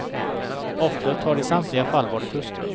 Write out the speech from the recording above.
Offret har i samtliga fall varit hustrun.